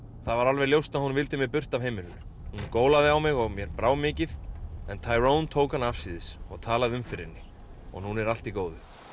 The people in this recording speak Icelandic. það var alveg ljóst að hún vildi mig burt af heimilinu hún gólaði á mig og mér brá mikið en tók hana afsíðis og talaði um fyrir henni og núna er allt í góðu